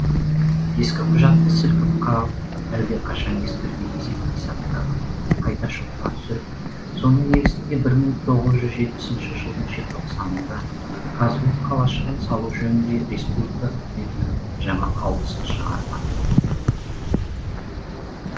ескі құжатты сілкіп қағып әлдеқашан ескірген есеп қисаптарын қайта шотқа түсіріп соның негізінде бір мың тоғыз жүз жетпісінші жылдың желтоқсанында казгу қалашығын салу жөнінде республика үкіметінің жаңа қаулысын шығартады